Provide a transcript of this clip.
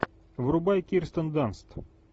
врубай кирстен данст